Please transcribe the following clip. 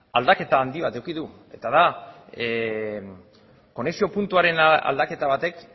aldaketa handi bat eduki du eta da konexio puntuaren aldaketa batek